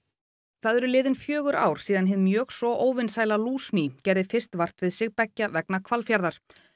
það eru liðin fjögur ár síðan hið mjög svo óvinsæla gerði fyrst vart við sig beggja vegna Hvalfjarðar